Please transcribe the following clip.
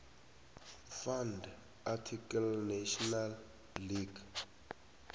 fn ndearticlenational language